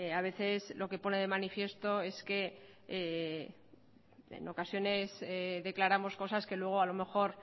a veces lo que pone de manifiesto es que en ocasiones declaramos cosas que luego a lo mejor